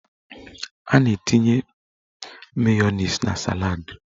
A na-etinye mayoniz na saladị